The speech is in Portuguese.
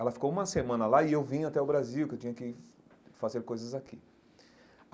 Ela ficou uma semana lá e eu vim até o Brasil, que eu tinha que fazer coisas aqui.